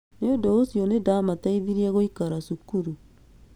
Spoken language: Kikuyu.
Nĩ ũndũ ũcio nĩ ndaamateithirie gũikara cukuru".